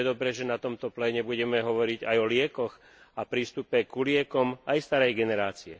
Preto je dobré, že na tomto pléne budeme hovoriť aj o liekoch a prístupe ku liekom aj starej generácie.